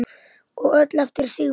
Og öll eftir Sigmar.